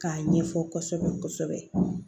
K'a ɲɛfɔ kɔsɔbɛ kɔsɔbɛ